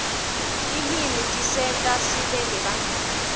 tilwimi tisenta sibe nebangani